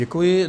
Děkuji.